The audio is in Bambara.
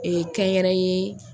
Ee kɛ yɛrɛ ye